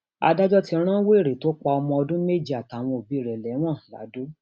adájọ ti rán wẹrẹ tó pa ọmọ ọdún méje àtàwọn òbí rẹ lẹwọn ladọ